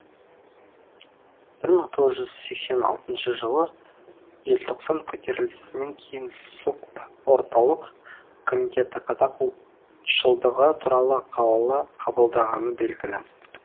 бір мың тоғыз жүз сексен алтыншы жылы желтоқсан көтерілісінен кейін сокп орталық комитеті қазақ ұлтшылдығы туралы қаулы қабылдағаны белгілі